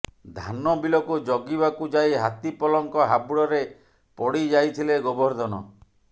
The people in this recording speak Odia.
ଧାନ ବିଲକୁ ଜଗିବାକୁ ଯାଇ ହାତୀପଲଙ୍କ ହାବୁଡରେ ପଡିଯାଇଥିଲେ ଗୋବର୍ଦ୍ଧନ